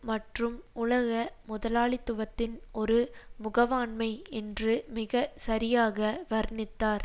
மற்றும் உலக முதலாளித்துவத்தின் ஒரு முகவாண்மை என்று மிக சரியாக வர்ணித்தார்